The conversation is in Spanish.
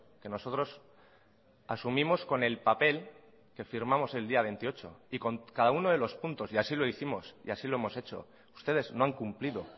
que nosotros asumimos con el papel que firmamos el día veintiocho y con cada uno de los puntos y así lo hicimos y así lo hemos hecho ustedes no han cumplido